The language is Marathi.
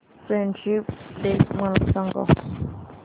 फ्रेंडशिप डे मला सांग